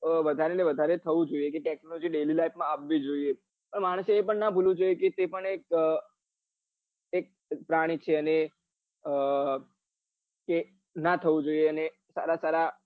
વધારે ને વધારે થવું જોવે કે technology daily life માં આવવી જોઈએ અને માણસ ને એ પણ નાં ભૂલવું જોઈએ કે તે પણ એક એક પ્રાણી છે ને ના થવું જોઈએ અને સારા સારા